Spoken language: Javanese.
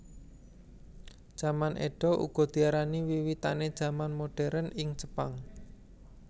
Jaman Édo uga diarani wiwitané jaman moderen ing Jepang